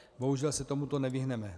Bohužel se tomuto nevyhneme.